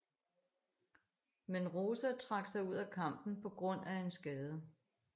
Men Rosa trak sig ud af kampen på grund af en skade